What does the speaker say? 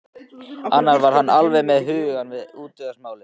Annars var hann alveg með hugann við útgerðarmálin.